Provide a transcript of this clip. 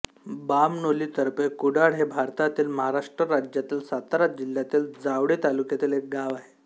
बामणोली तर्फे कुडाळ हे भारतातील महाराष्ट्र राज्यातील सातारा जिल्ह्यातील जावळी तालुक्यातील एक गाव आहे